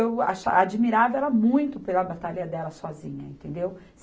Eu acha, admirava ela muito pela batalha dela sozinha, entendeu?